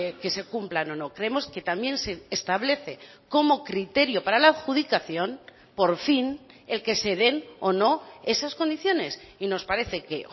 que se cumplan o no creemos que también se establece como criterio para la adjudicación por fin el que se den o no esas condiciones y nos parece que